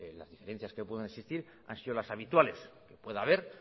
las diferencias que puedan existir han sido las habituales que puede haber